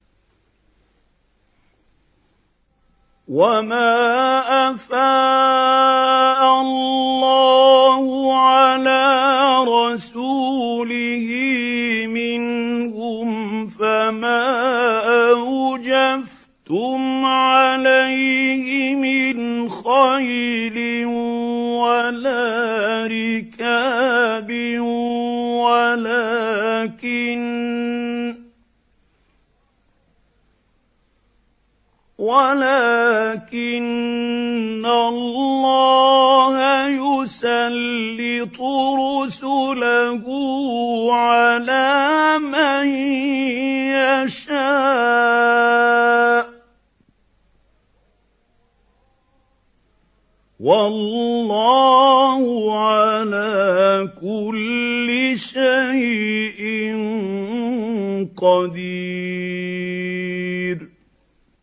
وَمَا أَفَاءَ اللَّهُ عَلَىٰ رَسُولِهِ مِنْهُمْ فَمَا أَوْجَفْتُمْ عَلَيْهِ مِنْ خَيْلٍ وَلَا رِكَابٍ وَلَٰكِنَّ اللَّهَ يُسَلِّطُ رُسُلَهُ عَلَىٰ مَن يَشَاءُ ۚ وَاللَّهُ عَلَىٰ كُلِّ شَيْءٍ قَدِيرٌ